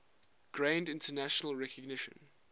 gained international recognition